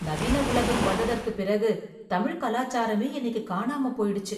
நவீன உலகம் வந்ததற்கு பிறகு தமிழ் கலாச்சாரமே இன்னிக்கு காணாம போயிடுச்சு